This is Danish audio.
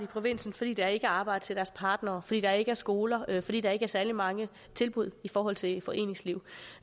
provinsen fordi der ikke er arbejde til deres partner fordi der ikke er skoler fordi der ikke er særlig mange tilbud i forhold til foreningsliv